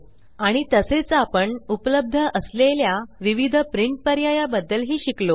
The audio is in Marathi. आणि तसेच आपण उपलब्ध असलेल्या विविध प्रिंट पर्याया बद्दल ही शिकलो